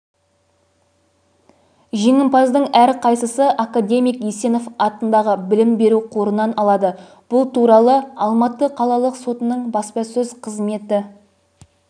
жеңімпаздың әрқайсысы академик есенов атындағы білім беру қорынан алады бұл туралы алматы қалалық сотының баспасөз қызметі